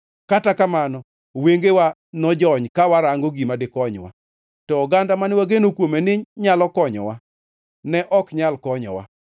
Kata kamano, wengewa nojony, ka warango gima dikonywa; to oganda mane wageno kuome ni nyalo konyowa ne ok nyal konyowa.